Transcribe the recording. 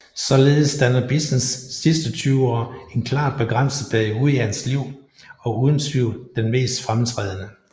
Således danner Bissens sidste 20 år en klart begrænset periode i hans liv og uden tvivl den mest fremtrædende